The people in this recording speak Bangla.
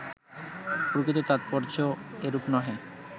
প্রকৃত তাৎপর্য্য এরূপ নহে